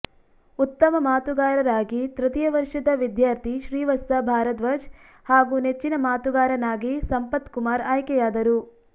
ಉತ್ತಮ ಮಾತುಗಾರರಾಗಿ ತೃತೀಯ ವರ್ಷದ ವಿದ್ಯಾರ್ಥಿ ಶ್ರೀವತ್ಸ ಭಾರದ್ವಾಜ್ ಹಾಗೂ ನೆಚ್ಚಿನ ಮಾತುಗಾರನಾಗಿ ಸಂಪತ್ ಕುಮಾರ್ ಆಯ್ಕೆಯಾದರು